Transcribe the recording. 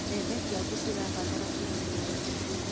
Mbembe ciaku cirabatara kũrĩmĩrwo rĩngĩ.